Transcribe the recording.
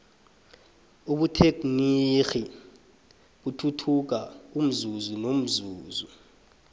ubuthegnirhi buthuthuka umzuzu nomzuzu